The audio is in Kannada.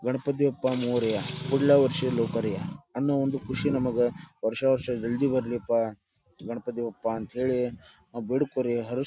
ಗಣಪತಿ ಬಪ್ಪ ಮೋರಿಯ ಕುಳ್ಳ ವರ್ಶಿ ಲೋಕರಿಯ ಅನ್ನೋ ಒಂದು ಖುಷಿ ನಮಗ ವರ್ಷ ವರ್ಷ ಜಲ್ದಿ ಬರ್ಲಿಪ್ಪ ಗಣಪತಿ ಬಪ್ಪ ಅಂತ ಹೇಳಿ ಬೇಡ್ಕೋರಿ ಹರಸ್ಕೋರಿ--